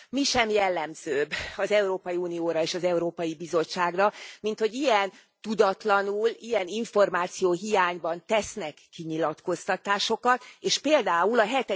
Mi sem jellemzőbb az Európai Unióra és az Európai Bizottságra, minthogy ilyen tudatlanul, ilyen információhiányban tesznek kinyilatkoztatásokat, és például a